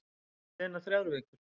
Síðan eru liðnar þrjár vikur.